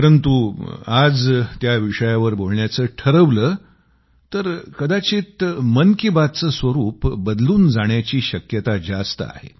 परंतु आज त्या विषयावर बोलण्याचं ठरवलं तर कदाचित मन की बातचं स्वरूप बदलून जाण्याची शक्यता जास्त आहे